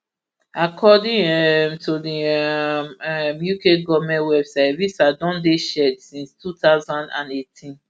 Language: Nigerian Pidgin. according um to di um um uk goment website evisa don dey shared since two thousand and eighteen